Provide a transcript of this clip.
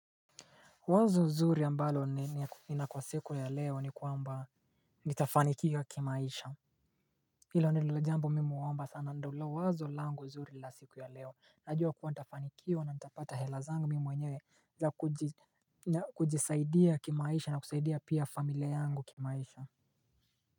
Wazo zuri ambalo nina kwa siku ya leo ni kwamba nitafanikiwa kimaisha. Hilo nililojambo mimi huomba sana ndilo wazo langu zuri la siku ya leo. Najua kuwa nitafanikiwa na nita pata helazangu mimi mwenyewe. Na kujisaidia kimaisha na kusaidia pia familia yangu kimaisha.